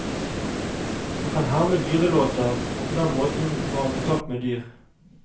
Han kan herme dyrelåter, og på den måten får han kontakt med dyr.